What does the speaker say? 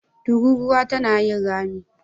Tururuwa tana yin rami.